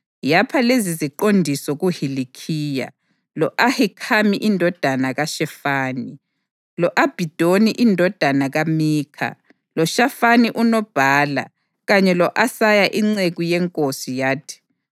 yapha leziziqondiso kuHilikhiya, lo-Ahikhami indodana kaShefani, lo-Abhidoni indodana kaMikha, loShafani unobhala kanye lo-Asaya inceku yenkosi yathi: